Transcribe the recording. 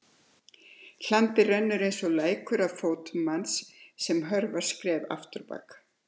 Hlandið rennur einsog lækur að fótum manns sem hörfar skref afturábak.